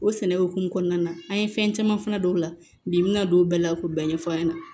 O sɛnɛ hokumu kɔnɔna na an ye fɛn caman fana don o la bi min ka don o bɛɛ la k'o bɛɛ ɲɛf'a ɲɛna